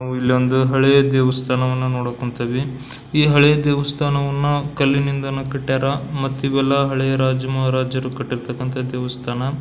ನಾವು ಇಲ್ಲಿ ಒಂದು ಹಳೆಯ ದೇವಸ್ಥಾನವನ್ನು ನೋಡೋಕ್ ಹೊಂತಿವಿ ಈ ಹಳೆಯ ದೇವಸ್ಥಾನವನ್ನು ಕಲ್ಲಿನಿಂದ ಕಟ್ಟಿಯರ ಮಟ್ಟೀವೆಲ್ಲ ರಾಜರು ಮಹಾರಾಜರು ಕಟ್ಟಿರ್ತಕ್ಕಂತಹ ದೇವಸ್ಥಾನ.